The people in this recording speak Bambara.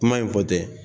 Kuma in fɔ tɛ